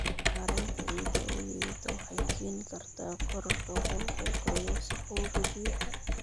Maaraynta ciidda oo liidata waxay keeni kartaa korodhka qulqulka iyo wasakhowga biyaha.